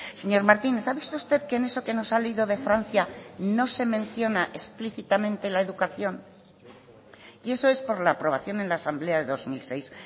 señor martínez ha visto usted que en eso que nos ha leído de francia no se menciona explícitamente la educación y eso es por la aprobación en la asamblea de dos mil seis